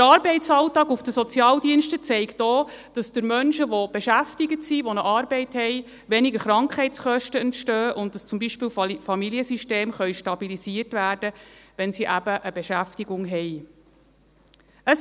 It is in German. Der Arbeitsalltag auf den Sozialdiensten zeigt auch, dass durch Menschen, die beschäftigt sind, die eine Arbeit haben, weniger Krankheitskosten entstehen und dass zum Beispiel Familiensysteme stabilisiert werden können, wenn sie eben eine Beschäftigung haben.